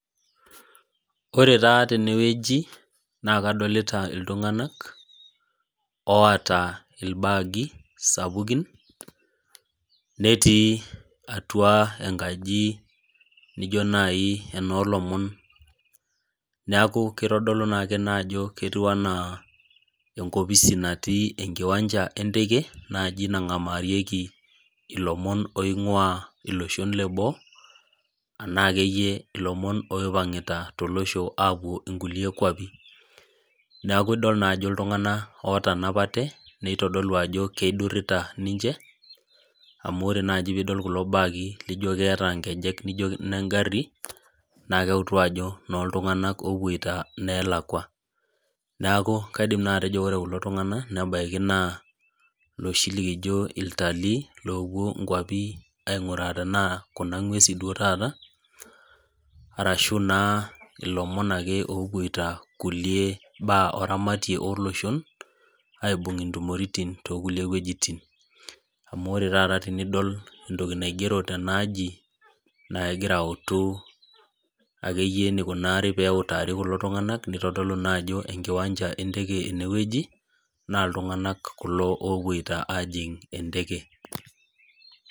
Ore taa teneweji naa kadolita iltung'anak oota ilbagi sapukin neeti atua enkaji naijo naji eno lomon. Neaku kitodolu naake ajo ketiu enaa. Enkopiai natii enkiwanja enteke najii nang'amarieki ilomon oing'ua iloshon leboo enaa akeyie ilopon loipang'ita apuo inkukie kuapin. Neeku idol naa ajo iltung'ana otanapate nitodolu ajo keidurita ninche amu ore naji pidol kulo baki lijo keeta inkejek lijo egari naa keutu ajo ino iltung'ana opoiti ineelakua. Neeku kaidim naa atejo ore kuko tung'ana nebaki naa looshi likijo iltalii lopuo aing'oru tenaa kuna ng'uesin duo tataa arashu ilomon akeyie opoito kulie baa eramati olosho aibung' intomiritin too kulie wejitin amu ore taata tenidol entoki naigero tena aji nagira autu akeyie eneikunari teneutari kulo tung'ana nitodolu naa ajo enkiwanja enteke eneweji naa iltung'ana kulo opito ajing' enteke.